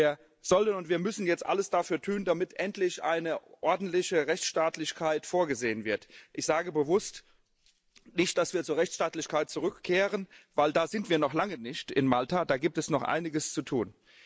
Wir sollen und wir müssen jetzt alles dafür tun, damit endlich eine ordentliche Rechtsstaatlichkeit vorgesehen wird. Ich sage bewusst nicht, dass wir zu Rechtsstaatlichkeit zurückkehren, weil da sind wir in Malta noch lange nicht, da gibt es noch einiges zu tun.